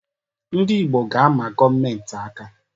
Ndị Igbo ga-ama gọọmentị aka.